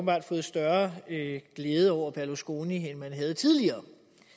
har fået større glæde over berlusconi end man havde tidligere